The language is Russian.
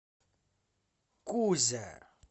кузя